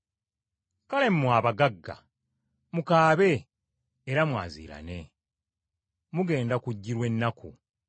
Kale, mmwe abagagga, mukaabe era mwaziirane. Mugenda kujjirwa ennaku.